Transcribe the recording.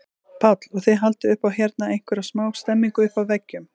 Páll: Og þið haldið upp á hérna einhverja smá stemningu uppi á veggjum?